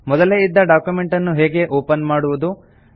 ಮೊದಲೇ ಇದ್ದ ಡಾಕ್ಯುಮೆಂಟ್ ಅನ್ನು ಹೇಗೆ ಓಪನ್ ಮಾಡುವುದು